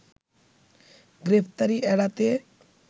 গ্রেপ্তারি এড়াতে